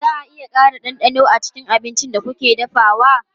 Za a iya ƙara ɗanɗano a cikin abincin da kuke dafawa?